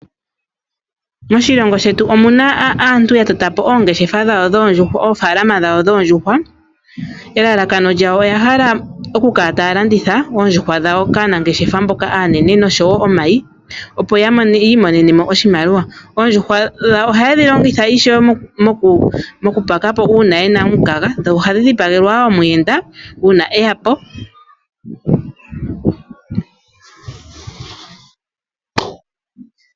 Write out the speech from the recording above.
Moshilongo shetu omuna aantu yatota po oongeshefa dhawo dhoondjuhwa, oofalama dhawo dhoondjuhwa elalakano lyawo oya hala oku kala taya landitha oondjuhwa dhawo kaanangeshefa mboka aanene oshowo omayi opo yi imonene mo oshimaliwa. Oondjuhwa dhawo ohaye dhi longitha ishewe moku telekea uuna yena omukaga ,dho ohadhi dhipagelwa wo omuyenda uuna eya po.